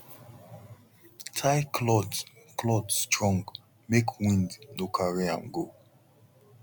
tie cloth cloth strong make wind no carry am go